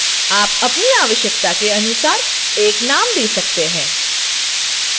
आप अपनी आवश्यकता के अनुसार एक name दे सकते हैं